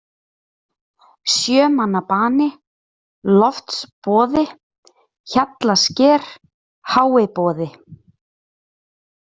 Sjömannabani, Loftsboði, Hjallasker, Háiboði